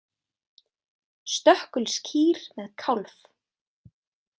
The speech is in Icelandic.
Stökkulskýr með kálf.